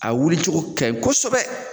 A wuli cogo ka ɲi kosɛbɛ.